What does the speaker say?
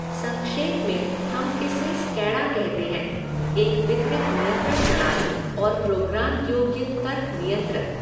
संक्षेप में हम इसे स्कैड़ा कहते हैं, एक वितरित नियंत्रण प्रणाली और प्रोग्राम योग्य तर्क नियंत्रक।